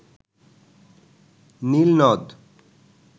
নীল নদ